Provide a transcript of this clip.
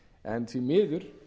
en því miður